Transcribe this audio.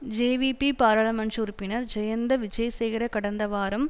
JVP பாராளுமன்ற உறுப்பினர் ஜயந்த விஜேசேகர கடந்த வாரம்